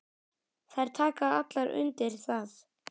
Þær taka allar undir það.